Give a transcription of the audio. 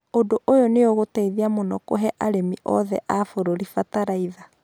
Ũndũ ũyũ nĩ ũgũteithia mũno kũhe arimi othe a bũrũri bataraitha